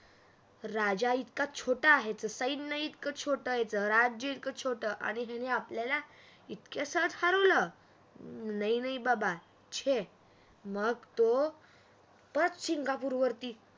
राजा इतका छोट आहे तर सैन्य इतकं छोटं राज्य इतकं छोटं तरी आणि त्याने आपल्याला इतकं सहज हरवलं नहीं नहीं बाबा छे मग तोपरत सिंगापूर वरती